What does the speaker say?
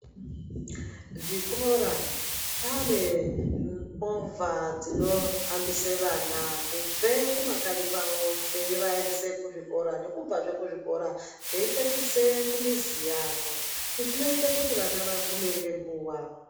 Zvikora zvaane movha dzinohambise vana kubve kumakanyi kwawo zveivaendese kuzvikora, nekubvazve kuzvikora zveipetudze kumizi yavo izvi zvinoite kuti vana vagume ngeguwa.